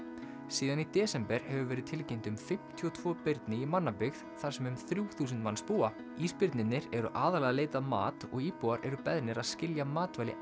síðan í desember hefur verið tilkynnt um fimmtíu og tvö birni í mannabyggð þar sem um þrjú þúsund manns búa ísbirnirnir eru aðallega að leita að mat og íbúar eru beðnir að skilja matvæli